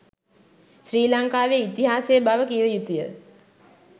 ශ්‍රී ලංකාවේ ඉතිහාසය බව කිව යුතු ය.